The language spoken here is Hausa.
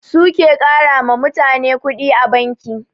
Su ke ƙarama mutane kuɗi a banki